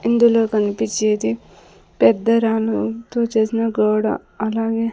ఇందులో కనిపించేది పెద్ద రాళ్లతో చేసిన గోడ అలాగే.